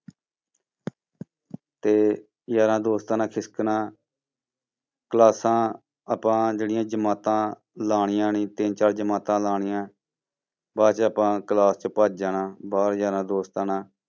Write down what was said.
ਤੇ ਯਾਰਾਂ ਦੋਸਤਾਂ ਨਾਲ ਖਿਸਕਣਾਂ ਕਲਾਸਾਂ ਆਪਾਂ ਜਿਹੜੀਆਂ ਜਮਾਤਾਂ ਲਾਉਣੀਆਂ ਨੀ ਤਿੰਨ ਚਾਰ ਜਮਾਤਾਂ ਲਾਉਣੀਆਂ, ਬਾਅਦ 'ਚ ਆਪਾਂ class ਚੋਂ ਭੱਜ ਜਾਣਾ, ਬਾਹਰ ਯਾਰਾਂ ਦੋਸਤਾਂ ਨਾਲ।